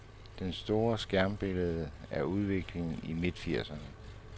Det store skræmmebillede er udviklingen i midtfirserne.